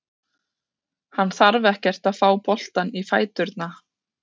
Hann þarf ekkert að fá boltann í fæturna.